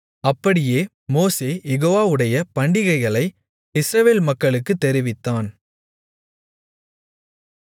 அப்படியே மோசே யெகோவாவுடைய பண்டிகைகளை இஸ்ரவேல் மக்களுக்குத் தெரிவித்தான்